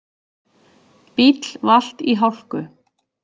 Bíll valt í hálku